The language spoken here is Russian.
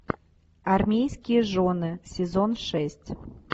армейские жены сезон шесть